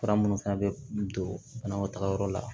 Fura minnu fana bɛ don banakɔtagayɔrɔ la